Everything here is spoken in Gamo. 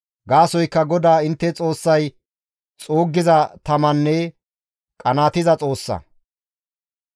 Gaasoykka GODAA intte Xoossay xuuggiza tamanne qanaatiza Xoossa.